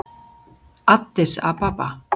Addis Ababa